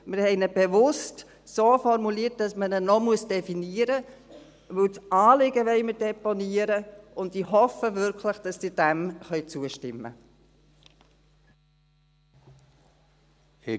Wir haben ihn bewusst so formuliert, dass man ihn noch definieren muss, weil wir das Anliegen deponieren wollen, und ich hoffe wirklich, dass Sie diesem zustimmen können.